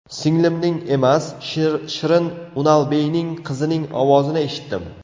Singlimning emas, Shirin Unalbeyning qizining ovozini eshitdim.